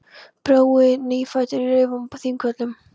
Brói nýfæddur í reifum á Þingvöllum.